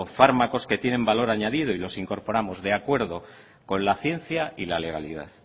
fármacos que tienen valor añadido y los incorporamos de acuerdo con la ciencia y la legalidad